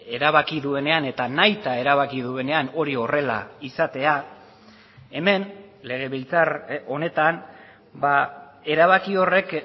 erabaki duenean eta nahita erabaki duenean hori horrela izatea hemen legebiltzar honetan erabaki horrek